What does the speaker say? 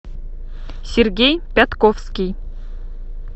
сергей пятковский